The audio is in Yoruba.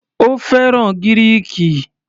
Ó fẹ́ràn Gíríìkì.